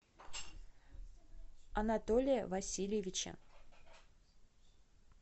анатолия васильевича